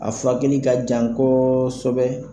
A furakɛli ka jan kɔɔsɛbɛ